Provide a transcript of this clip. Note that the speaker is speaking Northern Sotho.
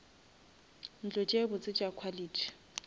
ntlo tše botse tša quality